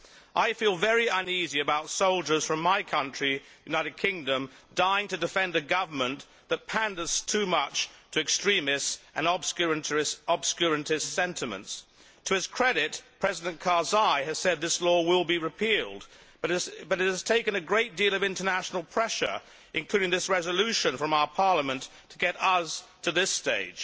I feel very uneasy about soldiers from my country, the United Kingdom, dying to defend a government that panders too much to extremist and obscurantist sentiments. To his credit, President Karzai has said this law will be repealed, but it has taken a great deal of international pressure, including this resolution from our Parliament, to get us to this stage.